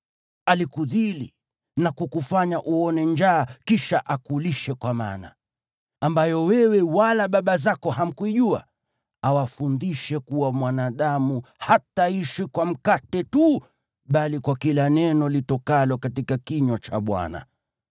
Alikudhili na kukufanya uone njaa kisha akulishe kwa mana, ambayo wewe wala baba zako hamkuijua, awafundishe kuwa mwanadamu hataishi kwa mkate tu bali kwa kila neno litokalo katika kinywa cha Bwana .